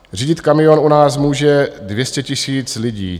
Řídit kamion u nás může 200 000 lidí.